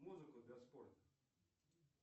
музыку для спорта